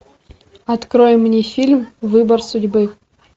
открой мне фильм выбор судьбы